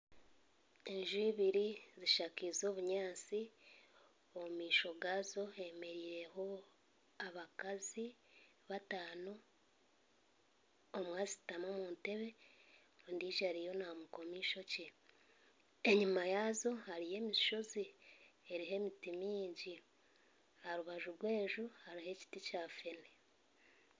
Enju ibiri zishakeize obunyansi omu maisho gazo hemereireho abakazi batano omwe ashutami omu ntebe ondiijo ariyo naamukoma ishokye enyuma yaazo hariyo emishozi eriho emiti mingi aharubaju rw'enju haruho ekiti kya fene.